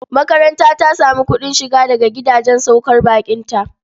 Makaranta ta sami kuɗin shiga daga gidajen saukar baƙinta.